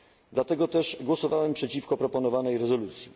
Dlatego też głosowałem przeciwko proponowanej rezolucji.